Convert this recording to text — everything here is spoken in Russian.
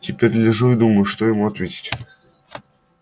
теперь лежу и думаю что ему ответить